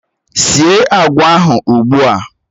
Síé agwa ahụ ugbu a!